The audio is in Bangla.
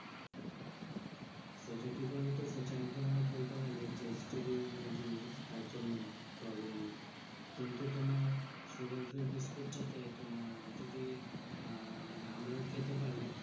সেটা কি বলতো? সেটা ধরণের বলতে গেলে testy জিনিস তার জন্য নয় problem নেই। কিন্তু তোমার sugar free biscuit টা তে তোমার যদি আহ মানে আমরাও খেতে পারি